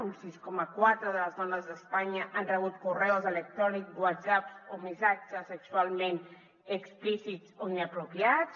un sis coma quatre de les dones d’espanya han rebut correus electrònics whatsapps o missatges sexualment explícits o inapropiats